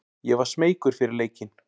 Ég var smeykur fyrir leikinn.